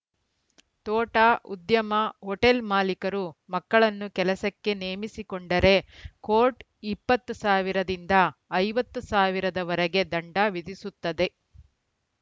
ತೋಟ ಉದ್ಯಮ ಹೋಟೆಲ್‌ ಮಾಲೀಕರು ಮಕ್ಕಳನ್ನು ಕೆಲಸಕ್ಕೆ ನೇಮಿಸಿಕೊಂಡರೆ ಕೋರ್ಟ್‌ ಇಪ್ಪತ್ತು ಸಾವಿರದಿಂದ ಐವತ್ತು ಸಾವಿರದವರೆಗೆ ದಂಡ ವಿಧಿಸುತ್ತದೆ